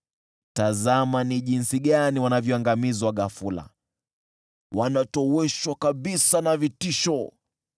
Tazama jinsi wanavyoangamizwa ghafula, wanatoweshwa kabisa na vitisho!